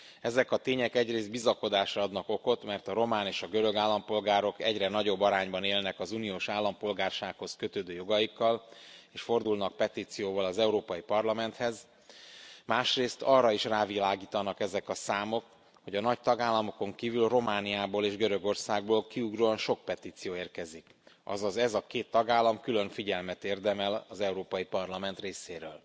Ezek a tények egyrész bizakodásra adnak okot, mert a román és a görög állampolgárok egyre nagyobb arányban élnek az uniós állampolgársághoz kötődő jogaikkal és fordulnak petícióval az Európai Parlamenthez, másrészt arra is rávilágítanak ezek a számok, hogy a nagy tagállamokon kívül Romániából és Görögországból kiugróan sok petíció érkezik, azaz ez a két tagállam külön figyelmet érdemel az Európai Parlament részéről.